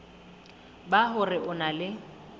ba hore o na le